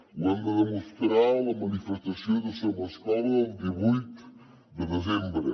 ho hem de demostrar a la manifestació de somescola el divuit de desembre